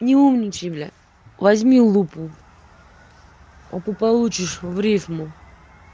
не умничай блять возьми лупу а то получишь в рифму